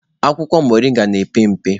Akwụkwọ moringa na-epe mpe.